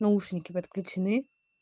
наушники подключены